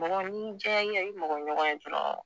Mɔgɔ ni y'i jɛya ya i mɔgɔɲɔgɔn ye dɔɔrɔn